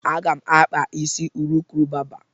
Aga m akpa isi urukurubaba.